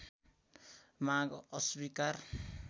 माग अस्वीकार